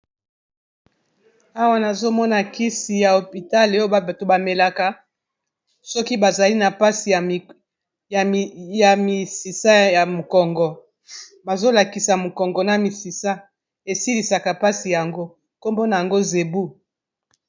Awa nazomona kisi ya hopital oyo bato ba melaka soki bazali na mpasi ya misisa ya mokongo bazolakisa mokongo na misisa esilisaka mpasi yango nkombona nango Zebu.